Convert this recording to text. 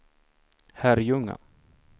Herrljunga